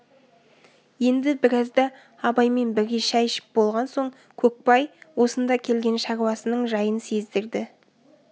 енді біразда абаймен бірге шай ішіп болған соң көкбай осында келген шаруасының жайын сездірді